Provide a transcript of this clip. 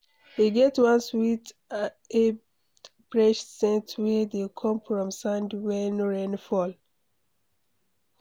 E get one sweet abd fresh saint wey dey come from sand wen rain fall.